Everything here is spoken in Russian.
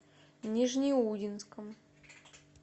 нижнеудинском